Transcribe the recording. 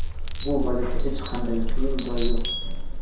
Bu vaziyatda hech qanday qiyin joyi yo‘q.